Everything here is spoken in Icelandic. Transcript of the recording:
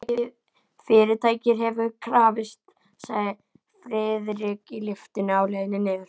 Fyrirtækið hefur krafist, sagði Friðrik í lyftunni á leiðinni niður.